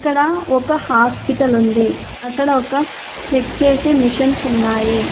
ఇక్కడ ఒక హాస్పిటల్ ఉంది అక్కడ ఒక చెక్ చేసే మెషన్స్ ఉన్నాయి.